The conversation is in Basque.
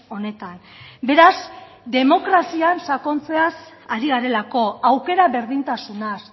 honetan beraz demokrazian sakontzeaz ari garelako aukera berdintasunaz